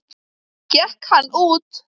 Gekk hann út.